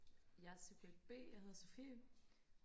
jeg er subjekt b jeg hedder sofie